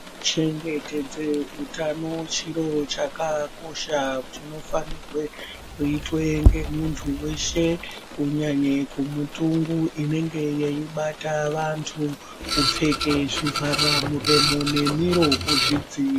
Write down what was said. Kuchengetedze utano chiro chakakosha chinofanirwe kuitwe ngemuntu weshe kunyanye kunyanye kumitungu inenge yeibata vantu kupfeke zvivharamuromo nemiro kuzvidziiri..